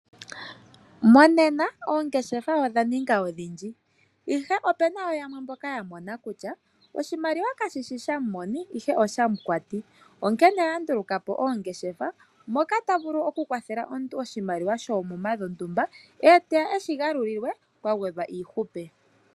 Monena oongeshefa odha ninga odhindji ihe opuna woo yamwe mboka ya mona kutya oshimaliwa kashshi shamoni ihe oshamukwati. Onkene oya ndulukwapo oongeshefa moka tavulu oku kwathela omuntu oshimaliwa koomuma dhontumba eteya eshi galulilwe kwa gwedhwa iihupe.